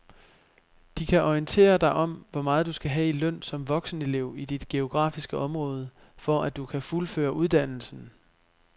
De kan orientere dig om hvor meget du skal have i løn som voksenelev i dit geografiske område, for at du kan fuldføre uddannelsen.